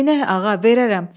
Neynək, ağa, verərəm.